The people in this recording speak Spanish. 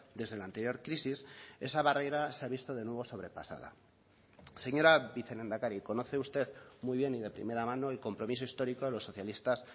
desde la anterior crisis esa barrera se ha visto de nuevo sobrepasada señora vicelehendakari conoce usted muy bien y de primera mano el compromiso histórico de los socialistas